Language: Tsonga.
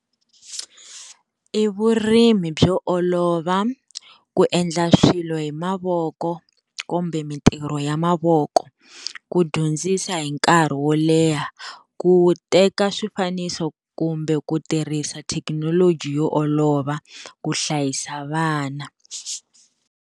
I vurimi byo olova ku endla swilo hi mavoko kumbe mintirho ya mavoko, ku dyondzisa hi nkarhi wo leha, ku teka swifaniso kumbe ku tirhisa thekinoloji yo olova ku hlayisa vana.